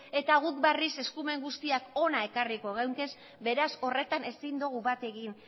eta guk barriz eskumenguztiak hona ekarriko geunkez beraz horretan ezin dugu bat egin